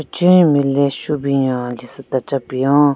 Pechenyu nme le shu binyo lesu tachepen-o.